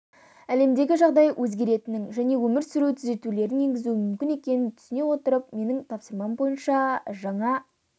әлемдегі жағдай өзгеретінін және өмір өз түзетулерін енгізуі мүмкін екенін түсіне отырып менің тапсырмам бойынша жаңа